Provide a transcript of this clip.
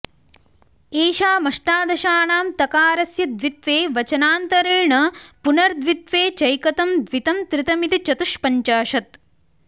एषामष्टादशानां तकारस्य द्वित्वे वचनान्तरेण पुनर्द्वित्वे चैकतं द्वितं त्रितमिति चतुष्पञ्चाशत्